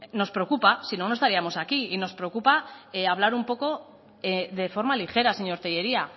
nos preocupa porque si no no estaríamos aquí y nos preocupa hablar un poco de forma ligera señor tellería